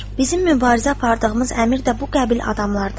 Bizim mübarizə apardığımız əmir də bu qəbil adamlardandır.